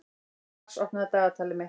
Mars, opnaðu dagatalið mitt.